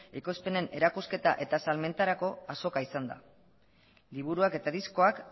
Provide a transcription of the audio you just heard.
ekoizpenen erakusketa eta salmentarako azoka izan da liburuak eta diskoak